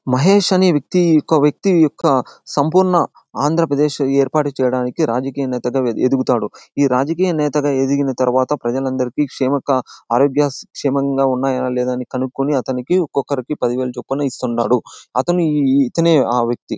మహేష్ అనే వ్యక్తి ఇంకో వ్యక్తి యొక్క సంపూర్ణ ఆంధ్రప్రదేశ్ ఏర్పాటు చేయడానికి రాజకీయనేతగా ఎదుగుతాడు. ఈ రాజకీయ నేతగా ఎదిగిన తరువాత ప్రజలందరికి క్షేమక ఆరోగ్య క్షేమంగా ఉన్నాయా లేదా అని కనుక్కుని అతనికి ఒక్కక్కరికి పదివేలు చొప్పున ఇస్తున్నాడు. అతను ఇతనే ఆ వ్యక్తి.--